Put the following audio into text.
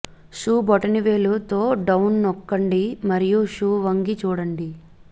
shoe బొటనవేలు తో down నొక్కండి మరియు షూ వంగి చూడండి